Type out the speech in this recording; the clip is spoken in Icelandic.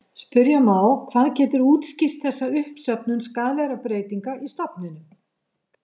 Spyrja má hvað getur útskýrt þessa uppsöfnun skaðlegra breytinga í stofninum.